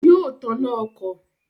Yóò taná ọkọ̀